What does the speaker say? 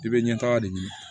I bɛ ɲɛ taga de ɲini